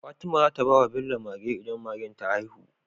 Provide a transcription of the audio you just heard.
Fatima zata bawa Bello Mage idan Magen ta ta haihu